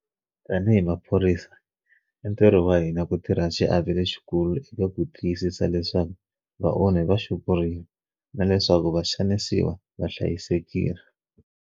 Tanihi maphorisa, i ntirho wa hina ku tirha xiave lexikulu eka ku tiyisisa leswaku vaonhi va xupuriwa na leswaku vaxanisiwa va hlayisekile.